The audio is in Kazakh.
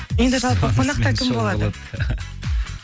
енді жалпы қонақта кім болады